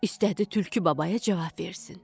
İstədi tülkü babaya cavab versin.